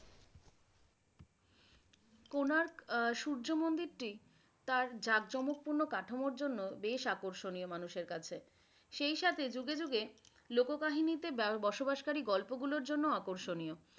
কোণার্ক সূর্য মন্দিরটি তার জাঁকজমক পূর্ণ কাঠামোর জন্য বেশ আকর্ষণীয় মানুষের কাছে। সেই সাথে যুগে যুগে লোক কাহিনীতে বসবাসকারী গল্পগুলোর জন্য আকর্ষণীয়।